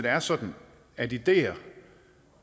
er sådan at ideer